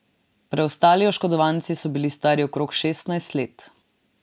Preostali oškodovanci so bili stari okrog šestnajst let.